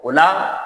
O la